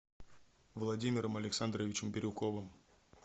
владимиром александровичем бирюковым